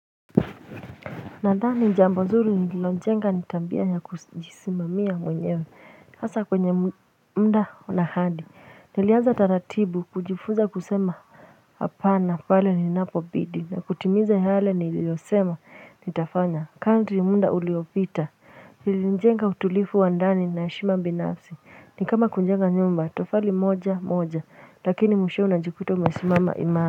Nadhani jambo zuri nililojenga ni tabia ya kujisimamia mwenyewe hasa kwenye muda un ahadi niliaza taratibu kujifuza kusema hapa na pale ninapobidi na kutimiza yale nililiyosema nitafanya kadri muda uliopita nililojenga utulivu wa ndani na heshima binafsi ni kama kujenga nyumba tofali moja moja lakini mwishowe unajikuta umesimama imara.